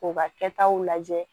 K'u ka kɛtaw lajɛ